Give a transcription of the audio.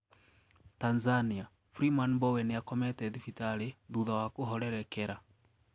Tanzania:Freeman Mbowe niakomete thibitari thutha wa kuhorerekera.